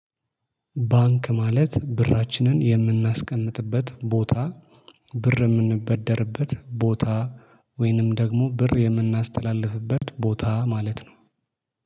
ባንክ ማለት ብራችንን የምናስቀምጥበት ቦታ ብር የምንበደርበት ቦታ። ወይንም ደግሞ ብር የምናስተላልፍበት ቦታ ማለት ነው